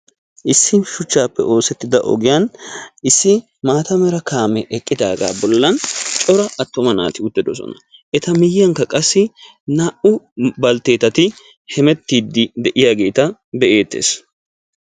issi shuchchappe oosettida ogiyani issi maatta mera kaame eqidaga bollani corra attuma naati uttidossona qassikka etta miyiyara naa"u baltetati hemetiyageti beettosona.